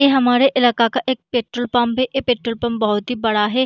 ये हमारे इलाका का एक पेट्रोल पंप है ये पेट्रोल पंप बहुत ही बड़ा है।